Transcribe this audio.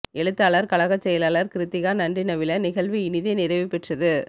எழுத்தாளர் கழகச் செயலாளர் கிருத்திகா நன்றி நவில நிகழ்வு இனிதே நிறைவு பெற்றது